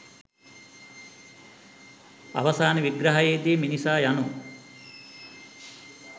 අවසාන විග්‍රහයේදී මිනිසා යනු